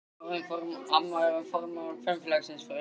Amma er orðin formaður kvenfélagsins fyrir austan.